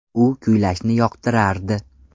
U kuylashni yoqtirardi.